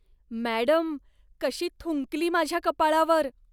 Madam, कशी थुंकली माझ्या कपाळावर.